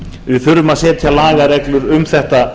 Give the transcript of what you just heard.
við þurfum að setja lagareglur um þetta